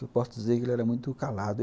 Eu posso dizer que ele era muito calado.